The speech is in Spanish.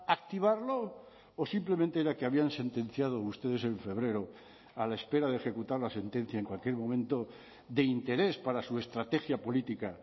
activarlo o simplemente era que habían sentenciado ustedes en febrero a la espera de ejecutar la sentencia en cualquier momento de interés para su estrategia política